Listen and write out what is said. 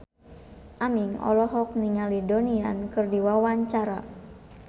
Aming olohok ningali Donnie Yan keur diwawancara